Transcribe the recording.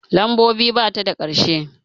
Lambobi bata da ƙarshe